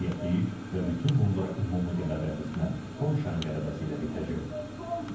Qətiyyətliyik və bütün bunlar ümumi qələbəmizlə, Polşanın qələbəsi ilə bitəcək.